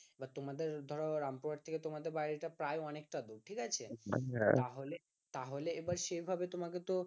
বা তোমাদের ধরো রামপুরহাট থেকে তোমাদের বাড়ি প্রায় অনেকটা দূর ঠিক আছে তাহলেতাহলে এবার সেই ভাবে তোমাকে তো